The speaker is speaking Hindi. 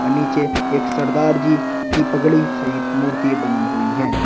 नीचे एक सरदार जी की पगड़ी सहित मूर्ति बनी हुई हैं।